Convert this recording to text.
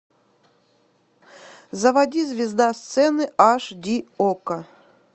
заводи звезда сцены аш ди окко